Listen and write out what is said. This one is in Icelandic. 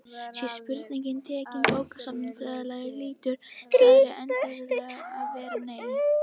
Sé spurningin tekin bókstaflega hlýtur svarið einfaldlega að vera nei.